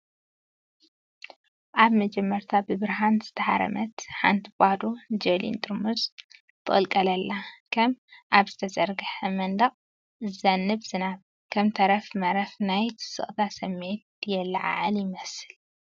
ኣብ መጀመርታ ብብርሃን ዝተሃርመት ሓንቲ ባዶ ጀሊን ጥርሙዝ ትቕልቀል ኣላ። ከም ኣብ ዝተዘርግሐ መንደቕ ዝዘንብ ዝናብ፡ ከም ተረፍ መረፍ፡ ናይ ስቕታ ስምዒት የለዓዕል ይመስል።